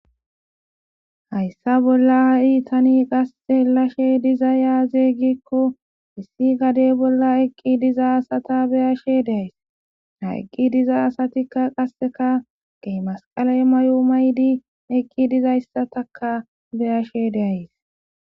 hayssa bolla ha7i tani qasse lashe diza yaazeeygikko issi gadey bolla eqqi diza asata beyashe deays ha eqqi diza asatikka qasseka gey masqale mayo maydi eqqi dizayssatakka beyashe de'ays